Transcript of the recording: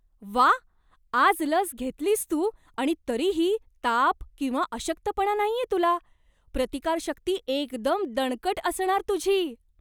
व्वा! आज लस घेतलीस तू, आणि तरीही ताप किंवा अशक्तपणा नाहीये तुला. प्रतिकारशक्ती एकदम दणकट असणार तुझी!